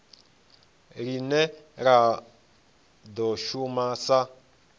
line la do shuma sa